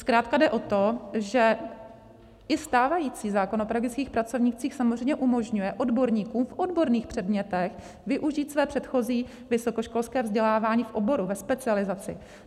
Zkrátka jde o to, že i stávající zákon o pedagogických pracovnících samozřejmě umožňuje odborníkům v odborných předmětech využít své předchozí vysokoškolské vzdělávání v oboru, ve specializaci.